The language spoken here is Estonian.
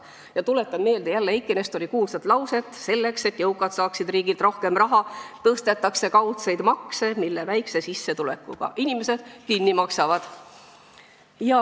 Ja tuletan meelde jälle Eiki Nestori kuulsat lauset: "Selleks, et jõukad saaksid riigilt rohkem raha, tõstetakse kaudseid makse, mille väikse sissetulekuga inimesed kinni maksavad.